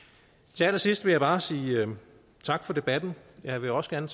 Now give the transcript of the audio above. til allersidst vil jeg bare sige tak for debatten jeg vil også gerne